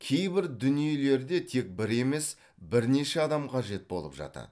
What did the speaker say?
кейбір дүниелерде тек бір емес бірнеше адам қажет болып жатады